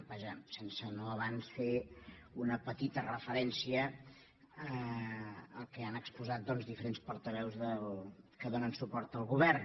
vaja no sense abans fer una petita referència al que han exposat diferents portaveus que donen suport al govern